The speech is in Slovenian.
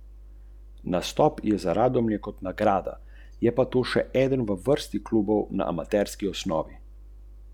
Hrana je bila okusna, osebje pa prijazno.